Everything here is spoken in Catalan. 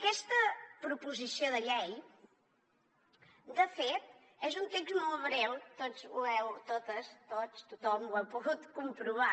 aquesta proposició de llei de fet és un text molt breu totes tots tothom ho heu pogut comprovar